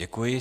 Děkuji.